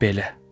Belə.